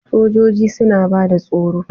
Sojoji suna bada tsaro.